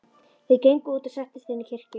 Þeir gengu út og settust inn í kirkju.